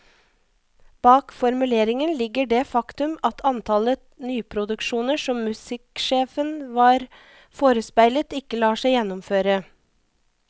Bak formuleringen ligger det faktum at antallet nyproduksjoner som musikksjefen var forespeilet, ikke lar seg gjennomføre.